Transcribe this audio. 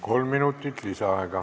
Kolm minutit lisaaega.